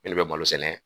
Ne de bɛ malo sɛnɛ